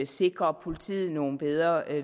sikre politiet nogle bedre